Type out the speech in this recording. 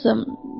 Nəyimə lazım?